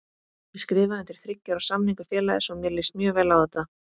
Ég skrifaði undir þriggja ára samning við félagið svo mér líst mjög vel á þetta.